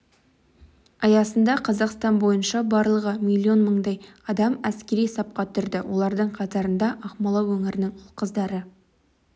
аясында қазақстан бойынша барлығы миллион мыңдай адам әскери сапқа тұрды олардың қатарында ақмола өңірінің ұл-қыздары